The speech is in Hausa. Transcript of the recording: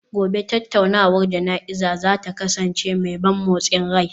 Gobe ​​tattaunawar jana'izar za ta kasance mai ban motsin rai